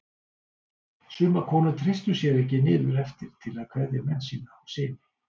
Sumar konur treystu sér ekki niður eftir til að kveðja menn sína og syni.